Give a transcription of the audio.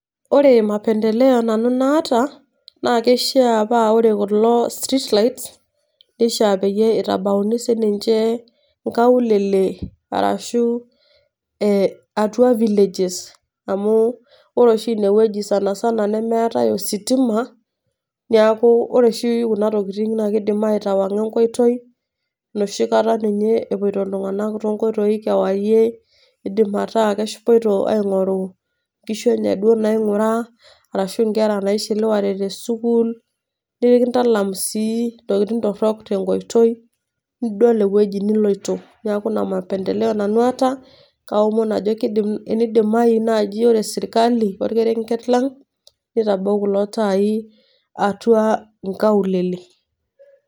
Ore mapendeleo nanu naata, na kishaa pa ore kulo streets lights, nishaa peyie itabauni sininche nkaulele, arashu atua villages, amu ore oshi inewueji sanasana nemeetae ositima, neeku ore oshi kuna tokiting na kiidim aitawang'a enkoitoi, enoshi kata ninye epoito iltung'anak tonkoitoii kewarie, idim ataa kepoito aing'oru nkishu enye duo naing'ura, arashu nkera naishiliwate tesukuul, nikintalam sii ntokiting torrok tenkoitoi, nidol ewueji niloito. Neeku ina mapendeleo nanu aata, kaomon ajo enidimayu naaji ore sirkali orkerenket lang',nitabau kulo taai atua inkaulele.